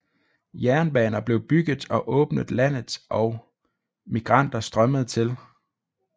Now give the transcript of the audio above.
Jernbaner blev bygget og åbnet landet og migranter strømmede til